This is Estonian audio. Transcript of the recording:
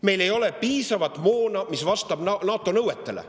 Meil ei ole piisavalt moona, mis vastab NATO nõuetele.